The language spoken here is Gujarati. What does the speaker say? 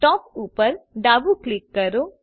ટોપ ઉપર ડાબું ક્લિક કરો